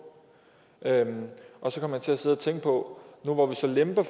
og så kom jeg til at sidde og tænke på nu hvor vi så lemper